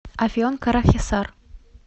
афьон карахисар